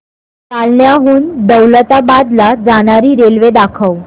जालन्याहून दौलताबाद ला जाणारी रेल्वे दाखव